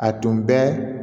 A tun bɛ